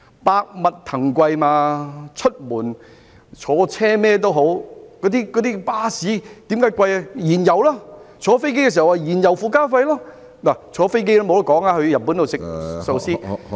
百物騰貴，出門在外，巴士車資昂貴的原因就是燃油；而乘坐飛機亦要支付燃油附加費，乘坐飛機到日本吃壽司也......